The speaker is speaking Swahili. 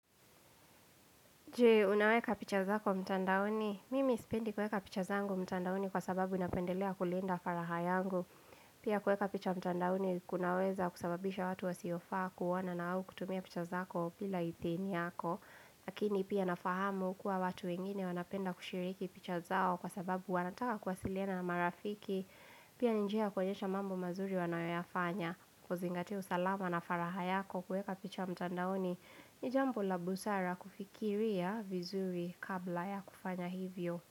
Je, unaweka picha zako mtandaoni? Mimi sipendi kuweka picha zangu mtandaoni kwa sababu napendelea kulinda faragha yangu. Pia kuweka picha mtandaoni kunaweza kusababisha watu wasiofaa kuona na au kutumia picha zako bila idhini yako. Lakini pia nafahamu kuwa watu wengine wanapenda kushiriki picha zao kwa sababu wanataka kuwasiliana na marafiki Pia ni njia ya kuonyesha mambo mazuri wanayoyafanya. Kuzingatia usalama na faragha yako, kuweka picha mtandaoni ni jambo la busara kufikiria vizuri kabla ya kufanya hivyo.